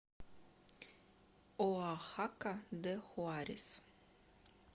оахака де хуарес